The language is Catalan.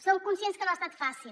som conscients que no ha estat fàcil